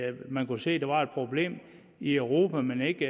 at man kunne se der var et problem i europa men ikke